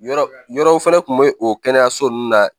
Yɔrɔ yɔrɔ fɛnɛ kun be o kɛnɛyaso nunnu na